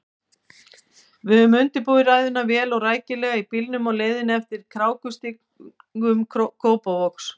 Við höfðum undirbúið ræðuna vel og rækilega í bílnum á leiðinni eftir krákustígum Kópavogs.